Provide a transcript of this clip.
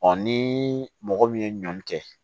ni mɔgɔ min ye ɲɔn kɛ